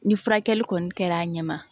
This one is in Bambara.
Ni furakɛli kɔni kɛra a ɲɛ ma